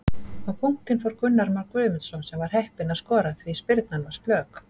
Á punktinn fór Gunnar Már Guðmundsson sem var heppinn að skora því spyrnan var slök.